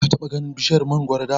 Ka taɓa ganin bishiyar mangoro da?